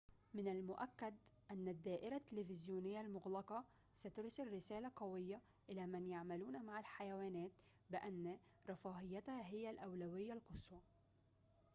من المؤكد أن الدائرة التلفزيونية المغلقة سترسل رسالة قوية إلى من يعملون مع الحيوانات بأن رفاهيتها هي الأولوية القصوى